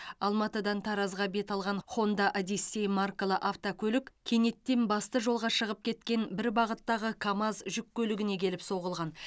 алматыдан таразға бет алған хонда одиссей маркалы автокөлік кенеттен басты жолға шығып кеткен бір бағыттағы камаз жүк көлігіне келіп соғылған